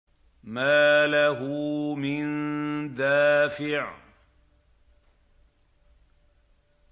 مَّا لَهُ مِن دَافِعٍ